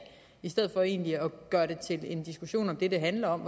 i stedet for egentlig at gøre det til en diskussion om det det handler om